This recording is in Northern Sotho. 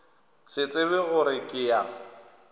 se tsebe gore ke ya